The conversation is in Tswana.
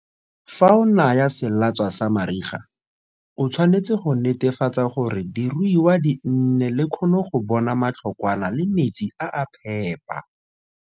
Fa o naya selatswa sa mariga, o tshwanetse go netefatsa gore diruiwa di nne le kgono go bona matlhokwana le metsi a a phepa.